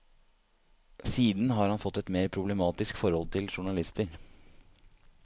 Siden har han fått et mer problematisk forhold til journalister.